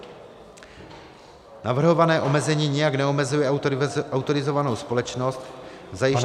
Navrhované omezení nijak neomezuje autorizovanou společnost v zajištění využití -